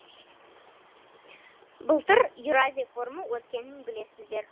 былтыр еуразия форумы өткенін білесіздер